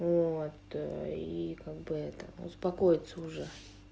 вот и как бы это успокоиться уже